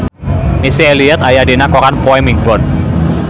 Missy Elliott aya dina koran poe Minggon